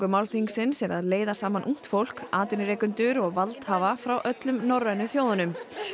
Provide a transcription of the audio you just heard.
málþingsins er að leiða saman ungt fólk atvinnurekendur og valdhafa frá öllum norrænu þjóðunum